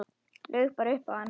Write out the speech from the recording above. Laug bara upp á hann.